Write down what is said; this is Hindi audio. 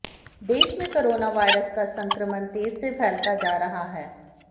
देश में कोरोना वायरस का संक्रमण तेज से फैलता जा रहा है